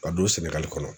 Ka don sɛnɛgali kɔnɔ